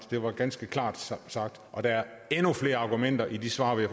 det var ganske klart sagt og der er endnu flere argumenter i de svar vi